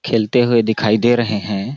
खेलते हुए दिखाई दे रहे है।